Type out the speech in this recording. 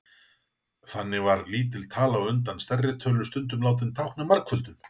þannig var lítil tala á undan stærri tölu stundum látin tákna margföldun